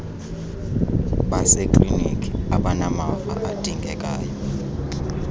baseklinikhi abanamava adingekayo